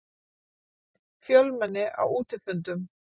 Fjölmenni á útifundum